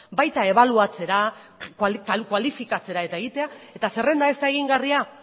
baita ebaluatzera kualifikatzera eta egitera eta zerrenda ez da egingarria